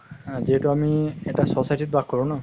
হা যিহেতু আমি এটা society ত বাস কৰো ন